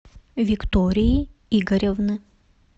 виктории игоревны